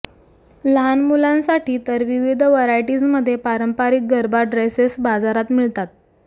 लहान मुलांसाठी तर विविध व्हरायटीजमध्ये पारंपरिक गरबा ड्रेसेस बाजारात मिळतात